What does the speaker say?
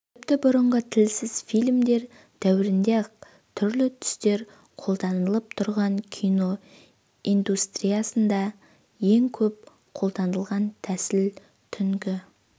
тіпті бұрынғы тілсіз фильмдер дәуірінде-ақ түрлі түстер қолданылып тұрған кино индустриясында ең көп қолданылған тәсіл түнгі